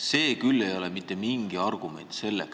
See ei ole küll mitte mingi argument seda